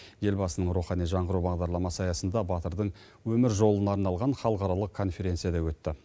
елбасының рухани жаңғыру бағдарламасы аясында батырдың өмір жолына арналған халықаралық конференция да өтті